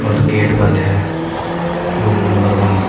और गेट बंद है रूम नंबर वन ।